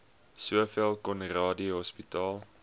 sowel conradie hospitaal